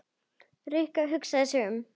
Rikka hugsar sig um.